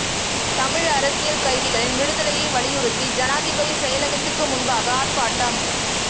தமிழ் அரசியல் கைதிகளின் விடுதலையை வலியுறுத்தி ஜனாதிபதி செயலகத்துக்கு முன்பாக ஆர்ப்பாட்டம்